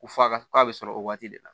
Ko f'a ka k'a bɛ sɔrɔ o waati de la